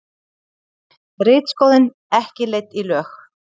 Ritskoðun ekki leidd í lög